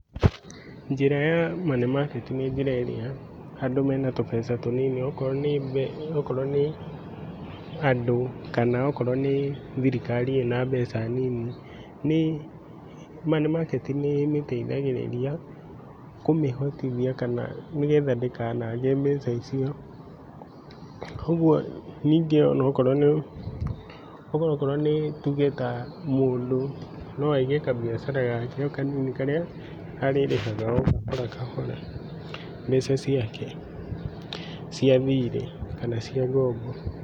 Njĩra ya money market, nĩ njĩra ĩrĩa andũ mena tũbeca tũnini okorwo nĩ andũ kana okorwo nĩ thirikari ĩna mbeca nini, nĩ money market nĩmĩteithagirĩria kũmĩhotithia kana nĩgetha ndĩkanage mbeca icio, koguo ningi onokrwo nĩ, onokrwo nĩ tuge ta mũndũ noaige kabiacara gake okanini karia arĩrĩhaga okahora okahora mbeca ciake, cia thirĩ kana cia ngombo.